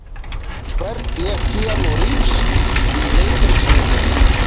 Hvern lék Keanu Reeves í Matrix myndunum?